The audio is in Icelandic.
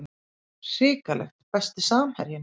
hrikalegt Besti samherjinn?